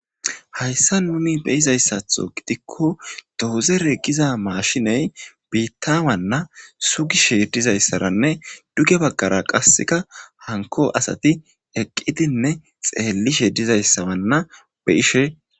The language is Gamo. hayssan nuni beyizayssatho qidikko dohozere giza maashiney biittawanna sugishe dizayssaranne duge baggara qasseka hanko asati eqqidinne xeellishe dizayssaranna be'ishe